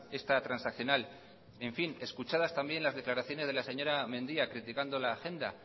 esta transaccional escuchadas también las declaraciones de la señora mendia criticando la agenda